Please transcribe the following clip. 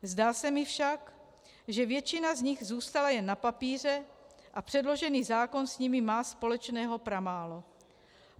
Zdá se mi však, že většina z nich zůstala jen na papíře a předložený zákon s nimi má společného pramálo.